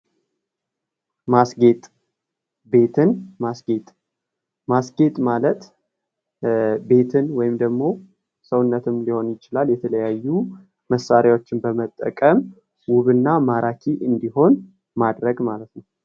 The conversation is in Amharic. ማስጌጥ፤ ቤትን ማስጌጥ፦ ቤትን ማስጌጥ ቤትን ወይም ደግሞ ሰውነትም ሊሆን ይችላል የተለያዩ መሣሪያዎችን በመጠቀም ውብ እና ማራኪ እንዲሆን ማድረግ ማለት ነው።